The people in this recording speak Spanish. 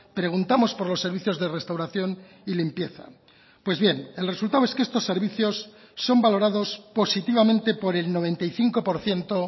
preguntamos por los servicios de restauración y limpieza pues bien el resultado es que estos servicios son valorados positivamente por el noventa y cinco por ciento